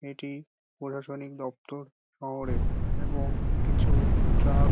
এটি প্ৰশাসনিক দপ্তর শহরে এবং কিছু ট্রাক --